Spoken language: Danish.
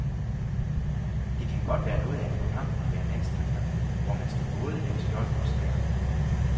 Det kan være noget af en kamp at være landstræner, hvor man skal bære både skjold og sværd.